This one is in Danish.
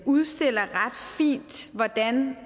udstiller ret fint hvordan